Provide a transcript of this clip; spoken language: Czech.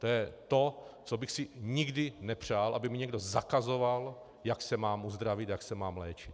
To je to, co bych si nikdy nepřál, aby mi někdo zakazoval, jak se mám uzdravit, jak se mám léčit.